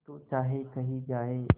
तू चाहे कही जाए